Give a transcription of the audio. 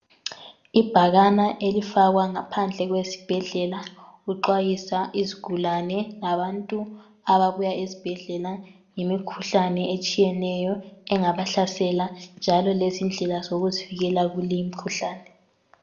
Ibhakana elifakwa ngaphandle kwesibhedlela kuxwayiswa izigulane labantu ababuya ezibhedlela ngemikhuhlane etshiyeneyo engabahlasela njalo lezindlela zokuzivikela kuleyi mikhuhlane.